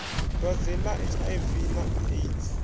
dwadze ḽa hiv na aids